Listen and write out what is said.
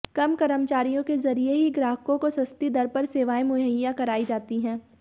कम कर्मचारियों के जरिए ही ग्राहकों को सस्ती दर पर सेवाएं मुहैया कराई जाती है